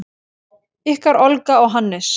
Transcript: Ykkar Olga og Hannes.